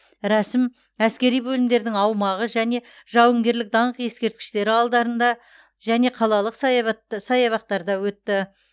рәсім әскери бөлімдердің аумағы және жауынгерлік даңқ ескерткіштері алдарында және қалалық саябақтарда өтті